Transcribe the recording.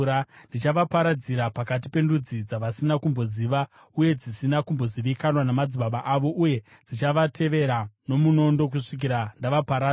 Ndichavaparadzira pakati pendudzi dzavasina kumboziva uye dzisina kumbozivikanwa namadzibaba avo, uye ndichavatevera nomunondo kusvikira ndavaparadza.”